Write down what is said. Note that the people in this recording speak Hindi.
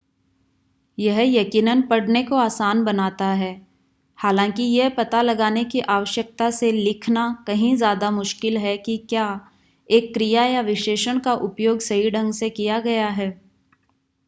यह यकीनन पढ़ने को आसान बनाता है हालांकि यह पता लगाने की आवश्यकता से लिखना कंही ज्यादा मुश्किल है कि क्या एक क्रिया या विशेषण का उपयोग सही ढंग से किया गया है